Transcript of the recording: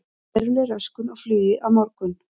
Veruleg röskun á flugi á morgun